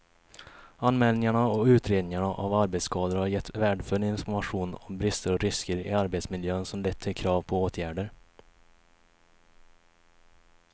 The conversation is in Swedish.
Anmälningarna och utredningarna av arbetsskador har gett värdefull information om brister och risker i arbetsmiljön som lett till krav på åtgärder.